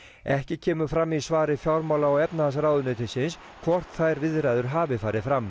ekki kemur fram í svari fjármála og efnahagsráðuneytisins hvort þær viðræður hafi farið fram